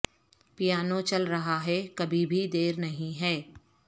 piano چل رہا ہے کبھی بھی دیر نہیں ہے